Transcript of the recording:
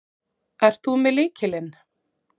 Ert þú með lykilinn?